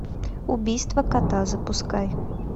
убийство кота запускай